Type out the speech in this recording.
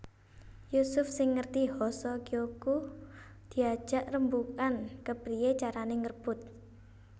Yusuf sing ngerti Hoso Kyoku diajak rembugan kepriyé carané ngrebut